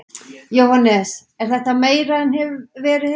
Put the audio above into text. Jóhannes: Er þetta meira en verið hefur?